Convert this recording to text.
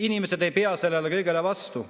Inimesed ei pea sellele kõigele vastu.